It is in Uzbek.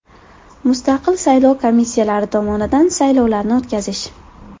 Mustaqil saylov komissiyalari tomonidan saylovlarni o‘tkazish.